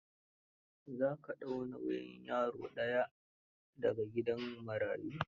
Za ka dau nau'yin yaro ɗaya da ga gidan marayun?